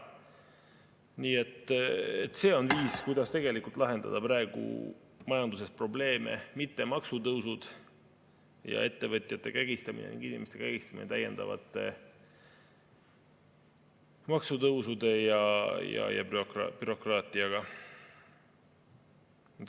Nii et see on viis, kuidas tegelikult lahendada praegu majanduses probleeme, mitte maksutõusud ja ettevõtjate kägistamine, inimeste kägistamine täiendavate maksutõusude ja bürokraatiaga.